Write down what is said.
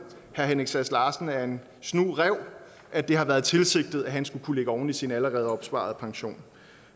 herre henrik sass larsen er en snu ræv at det har været tilsigtet at han skulle kunne lægge oveni i sin allerede opsparede pension